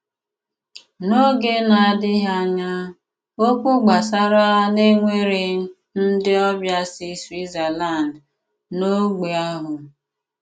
N’óge ná-àdị́ghị ányá, ókwú gbásárá ná é nwéré ndị ọbịa sí Swítzerlánd n’ógbè ahụ.